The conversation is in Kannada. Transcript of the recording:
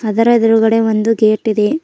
ಇದರ ಎದ್ರುಗಡೆ ಒಂದು ಗೇಟ್ ಇದೆ.